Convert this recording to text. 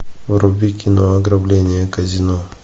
вруби кино ограбление казино